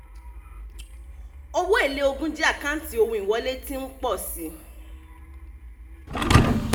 owó èlé ogún jẹ́ àkáǹtí ohun ìwọlé tí ń pọ̀ sí.